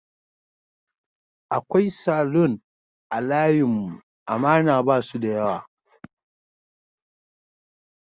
Akwai Salon a layin mu amana basu da yawa